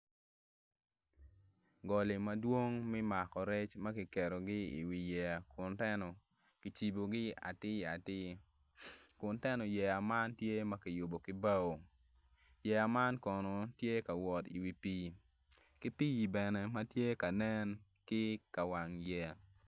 Goli madwong me mako rec ma kiketogi iwi yeya kun teno kicibogi atir atir kun teno yeya man tye ma kiyubo ki bao yeya man kono tye ka wot iwi pii ki pii bene ma tye ka nen ki i kawang yeya.